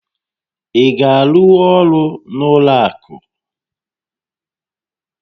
Ị ga-arụnwu ọrụ n'ụlọ akụ?